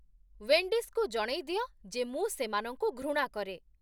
ୱେଣ୍ଡିସ୍‌କୁ ଜଣେଇ ଦିଅ ଯେ ମୁଁ ସେମାନଙ୍କୁ ଘୃଣା କରେ।